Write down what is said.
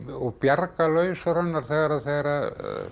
og bjargarlaus raunar þegar þegar